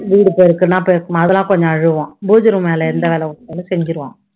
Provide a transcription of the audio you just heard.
வீடு பெருக்குன்னா பெருக்கமா அதெல்லாம் கொஞ்சம் அழுவான். பூஜை room வேலை எந்த வேலை கொடுத்தாலும் செஞ்சுருவான்